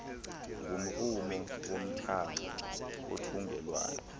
ngumrhumo womthamo wothungelwano